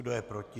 Kdo je proti?